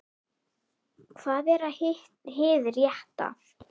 Hvað er hið rétta?